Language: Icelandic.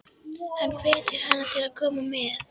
Hann hvetur hana til að koma með.